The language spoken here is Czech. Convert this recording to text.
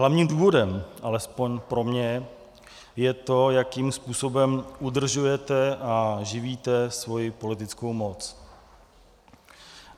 Hlavním důvodem, alespoň pro mě, je to, jakým způsobem udržujete a živíte svoji politickou moc.